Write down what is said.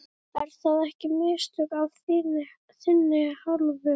Eru það ekki mistök af þinni hálfu?